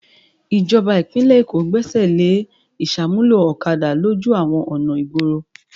Ìjọba ìpínlẹ̀ Èkó Gbẹ́sẹ̀ lé ìṣàmúlò ọ̀kadà lójú àwọn ọ̀nà ìgboro.